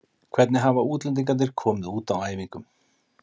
Hvernig hafa útlendingarnir komið út á æfingum?